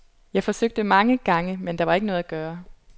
Jeg forsøgte mange gange, men der var ikke noget at gøre.